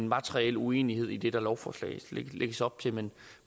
materiel uenighed i det der i lovforslaget lægges op til men